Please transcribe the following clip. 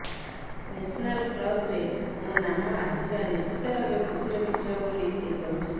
national କ୍ରଶରେ ମୋ ନାମ ଆସିବା ନିଶ୍ଚିତ ଭାବେ ଖୁସିର ବିଷୟ ବୋଲି ସେ କହିଛନ୍ତି